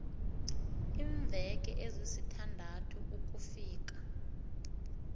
iimveke ezisithandathu ukufika